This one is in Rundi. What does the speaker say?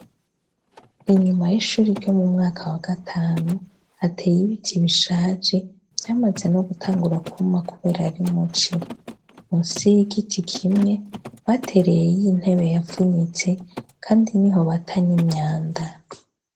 Inyuma y'ishure ryo mu mwaka wa gatanu, hateye ibiti bishaje vyamaze no gutangura kwuma kubera ari muci. Musi y'igiti kimwe batereyeyo intebe yavunitse kandi niho bata n'imyanda.